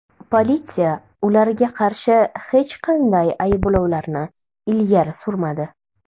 Politsiya ularga qarshi hech qanday ayblovlarni ilgari surmadi.